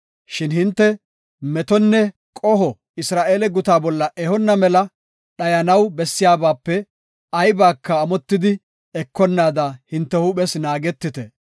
Shin hinte metonne qoho Isra7eele guta bolla ehona mela dhayanaw bessiyabape aybaka amotidi ekonnaada hinte huuphes naagetite.